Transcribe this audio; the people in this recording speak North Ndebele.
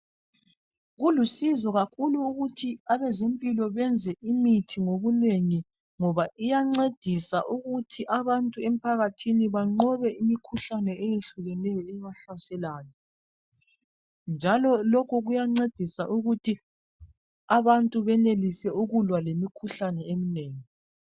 Kulusizo kakhulu ukuthi abezempilo benze imithi ngobunengi ngoba iyancedisa ukuthi abantu emphakathini banqobe imikhuhlane eyehlukeneyo ebahlaseleyo njalo lokhu kuyancedisa ukuthi abantu benelise ukulwa lemikhuhlane eminengi.